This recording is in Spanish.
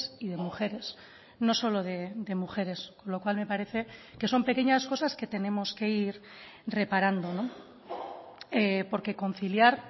y de mujeres no solo de mujeres lo cual me parece que son pequeñas cosas que tenemos que ir reparando porque conciliar